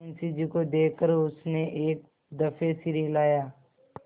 मुंशी जी को देख कर उसने एक दफे सिर हिलाया